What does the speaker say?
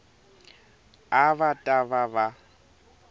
a va ta va va